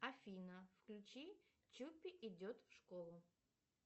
афина включи чуппи идет в школу